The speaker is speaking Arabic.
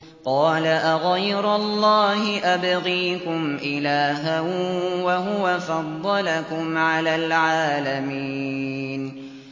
قَالَ أَغَيْرَ اللَّهِ أَبْغِيكُمْ إِلَٰهًا وَهُوَ فَضَّلَكُمْ عَلَى الْعَالَمِينَ